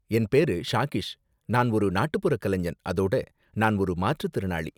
என் பேரு ஷாகிஷ், நான் ஒரு நாட்டுப்புறக் கலைஞன், அதோட நான் ஒரு மாற்றுத்திறனாளி.